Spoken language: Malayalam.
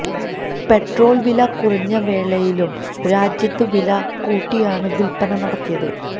പെട്രോള് വില കുറഞ്ഞ വേളയിലും രാജ്യത്ത് വില കൂട്ടിയാണ് വില്പ്പന നടത്തിയത്